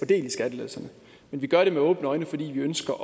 del i skattelettelserne men vi gør det med åbne øjne fordi vi ønsker